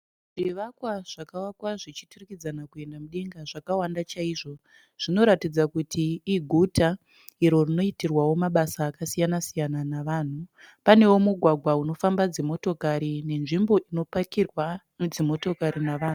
Zvivakwa zvakawakwa zvichiturikidzana kuenda mudenga zvakawanda chaizvo zvinoratidzawo kuti iguta iro rinoitirwa mabasa akasiyana siyana navanhu panewo mugwagwa unofamba dzimotokari nenzvimbo inopakirwa dzimotokari navanhu